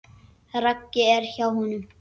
Raggi er hjá honum.